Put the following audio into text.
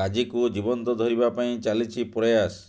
ଗାଜିକୁ ଜୀବନ୍ତ ଧରିବା ପାଇଁ ଚାଲିଛି ପ୍ରୟାସ